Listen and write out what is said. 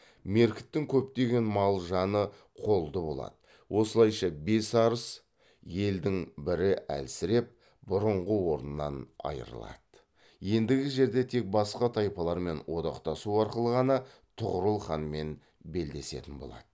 меркіттің көптеген мал жаны қолды болады осылайша бес арыс елдің бірі әлсіреп бұрынғы орнынан айырылады ендігі жерде тек басқа тайпалармен одақтасу арқылы ғана тұғырыл ханмен белдесетін болады